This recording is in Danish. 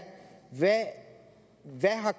hvad har